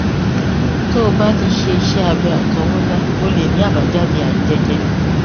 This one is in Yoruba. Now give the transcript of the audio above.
tó o bá ti ṣe iṣé abẹ àtọwọdá ó lè ní àbájáde àìjẹjẹ